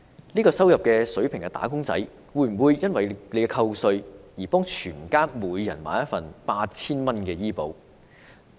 這個入息的"打工仔"會否為了扣稅而為所有家人每人購買一份 8,000 元的醫保？